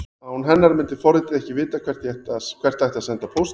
Án hennar myndi forritið ekki vita hvert ætti að senda póstinn.